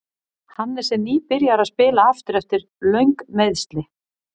Hannes er nýbyrjaður að spila aftur eftir löng meiðsli.